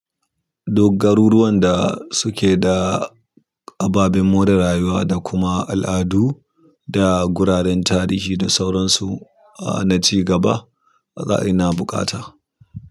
Duk garuruwan da suke da ababen more rayuwa da kuma al'adu da guraren tarihi da sauransu, a na ci gaba, ba za ina buƙata.